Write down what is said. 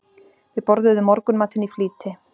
Við borðuðum morgunmatinn í flýti.